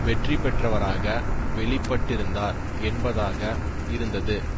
வெற்றி பெற்றவராக வெளிப்பட்டிருந்தார் என்பதாக இருந்தது